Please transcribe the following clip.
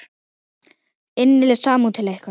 Innileg samúð til ykkar.